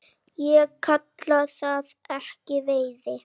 Ég kalla það ekki veiði.